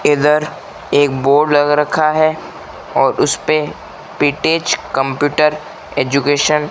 इधर एक बोर्ड लगा रखा है और उस पे पीटेज कंप्यूटर एजुकेशन --